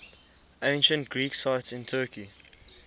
ancient greek sites in turkey